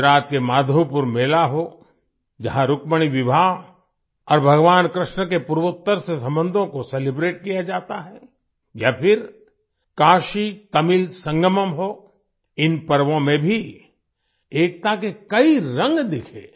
गुजरात के माधवपुर मेला हो जहाँ रुक्मिणी विवाह और भगवान कृष्ण के पूर्वोतर से संबंधों को सेलिब्रेट किया जाता है या फिर काशीतमिल संगमम् हो इन पर्वों में भी एकता के कई रंग दिखे